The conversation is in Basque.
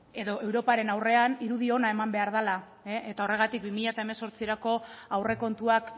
edo europaren aurrean irudi ona eman behar dela eta horregatik bi mila hemezortzirako aurrekontuak